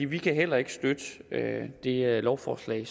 vi kan heller ikke støtte det lovforslag